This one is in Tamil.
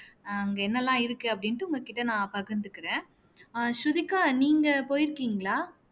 அங்க என்னெல்லாம் இருக்கு அப்படின்னுட்டு உங்க கிட்ட நான் பகிர்ந்துக்கிறேன் அஹ் ஸ்ருதிகா நீங்க போயிருக்கீங்களா